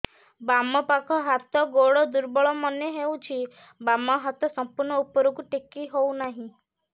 ବାମ ପାଖ ହାତ ଗୋଡ ଦୁର୍ବଳ ମନେ ହଉଛି ବାମ ହାତ ସମ୍ପୂର୍ଣ ଉପରକୁ ଟେକି ହଉ ନାହିଁ